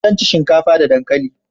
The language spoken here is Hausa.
zan ci shinkafa da dankali